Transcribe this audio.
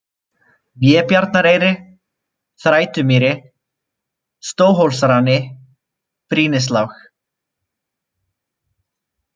Vébjarnareyri, Þrætumýri, Stóhólsrani, Brýnislág